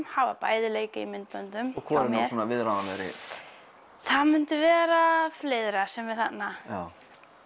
hafa báðir leikið í myndböndum og hvor er nú svona viðráðanlegri það myndi vera sem er þarna já